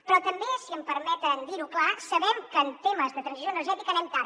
però també si em permeten dir ho clar sabem que en temes de transició energètica anem tard